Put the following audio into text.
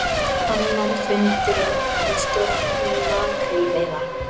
Annar fundurinn um stjórnun makrílveiða